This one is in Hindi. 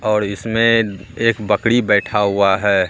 और इसमें एक बकरी बैठा हुआ है।